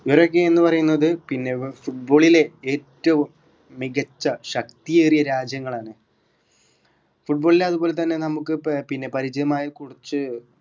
ഇവരൊക്കെയെന്നു പറയുന്നത് പിന്നെ ഏർ football ലെ ഏറ്റവും മികച്ച ശക്തിയേറിയ രാജ്യങ്ങളാണ് football ലെ അതുപോലെ തന്നെ നമുക്ക് ഏർ ഇപ്പൊ പിന്ന പരിചയമായ കുറച്ച്